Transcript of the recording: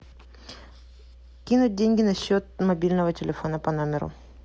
кинуть деньги на счет мобильного телефона по номеру